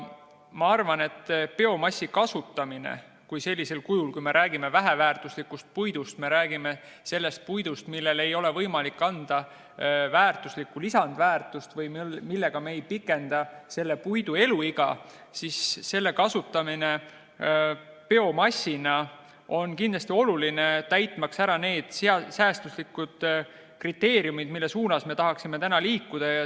Ma arvan, et biomassi kasutamine sellisel kujul, kui me räägime väheväärtuslikust puidust, kui me räägime sellest puidust, millele ei ole võimalik anda lisandväärtust või mille eluiga me ei saa pikendada, siis selle kasutamine biomassina on kindlasti oluline, täitmaks neid säästuslikkuse kriteeriume, mille suunas me tahaksime liikuda.